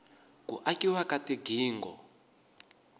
ku akiwa ka tigingho